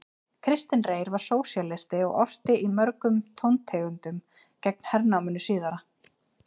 Kristinn Reyr var sósíalisti og orti í mörgum tóntegundum gegn hernáminu síðara.